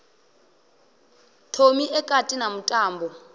thomi e kati na mutambo